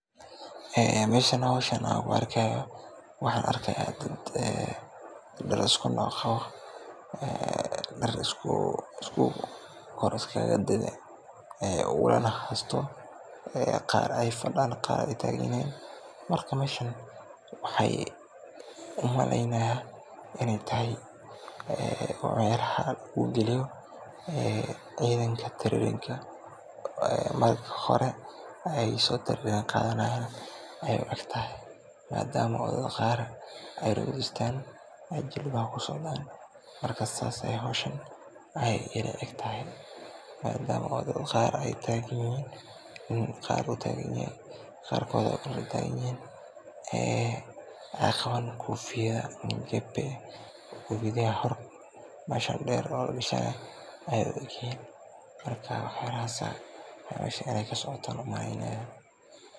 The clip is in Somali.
Meeshan howshan aan ku arkaayo waxaan arkaaya dad dar isku nooc ah qabo, dar kor iskaaga dadan ee ulal haysto, qaar aay fadaan qaar taagan yihiin, marka meeshan waxaan umaleynaya in aay tahay ciyaar uu galiyo cidaanka tababrka, marka hore aay tababar soo qaadanayan, ayeey ila tahay maadama qaar aay fadiisteen aay jilbaha ku socdaan, marka saas ayeey howshan ii la eg tahay, maadama oo dad qaar aay taagan yihiin, qaarkooda kale waay taagan yahaan, ee aay qabaan kofiyada, kofiyadaha hore deer oo lagashanaayo ayeey qabaan, marka wax yaabahaas ayaa meeshan kasocda umaleynaya.